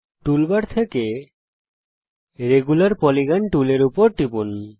toolbar থেকে regular polygon টুলের উপর টিপুন